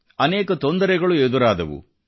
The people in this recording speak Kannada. ಅನೇಕ ತೊಂದರೆಗಳು ಎದುರಾದವು